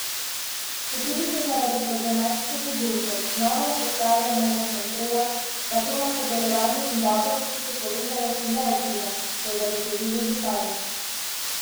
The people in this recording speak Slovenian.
Četudi se zaradi problematike beguncev znova vzpostavlja mejna kontrola, pa to na sodelovanje in dobre občutke povezanosti ne vpliva, so zagotovili župani.